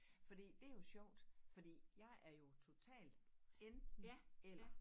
Fordi det jo sjovt fordi jeg er jo totalt enten eller